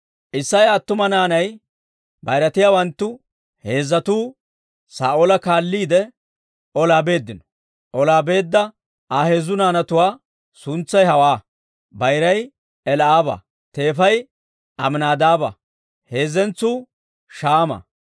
Isseya attuma naanay bayiratiyaawanttu heezzatuu Saa'oola kaalliide olaa beeddino; olaa beedda Aa heezzu naanatuwaa suntsay hawaa; bayiray Eli'aaba; teefay Aminaadaaba; heezzentsuu Shaama.